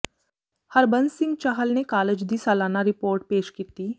ਹਰਬੰਸ ਸਿੰਘ ਚਾਹਲ ਨੇ ਕਾਲਜ ਦੀ ਸਾਲਾਨਾ ਰਿਪੋਰਟ ਪੇਸ਼ ਕੀਤੀ